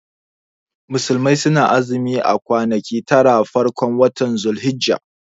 Musulmai sunayin azumi a kwanaki taran farkon watan dhul hijja